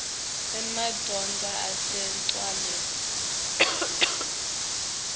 emadvodza ase ncwaleni